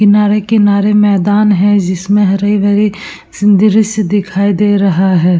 किनारे-किनारे मैदान है जिसमें हरी भरी संदृश्य दिखाई दे रहा है।